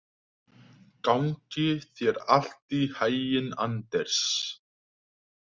Gangi þér allt í haginn, Anders.